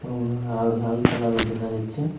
এবং লাল লাল কালার ও দেখা যাচ্ছে।